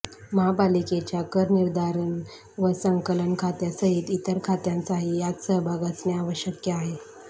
महापालिकेच्या करनिर्धारण व संकलन खात्यासहित इतर खात्यांचाही यात सहभाग असणे आवश्यक आहे